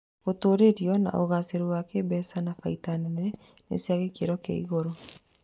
Gũtũrĩrĩo na ũgacĩru wa kĩĩmbeca na baita nene nĩ cia gĩkĩro kĩa igũrũ